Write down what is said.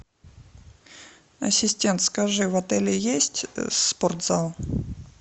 ассистент скажи в отеле есть спортзал